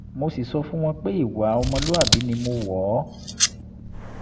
mo sì sọ fún wọn pé ìwà ọmọlúwàbí ni mo wọ̀ ọ́